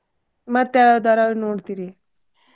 ಮತ್ತ ಯಾವ್ ಧಾರವಾಹಿ ನೋಡ್ತೀರಿ?